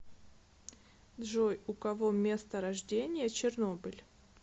джой у кого место рождения чернобыль